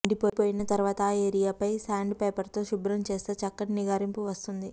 ఎండిపోయిన తరువాత ఆ ఏరియాపై సాండ్ పేపర్తో శుభ్రం చేస్తే చక్కటి నిగారింపు వస్తుంది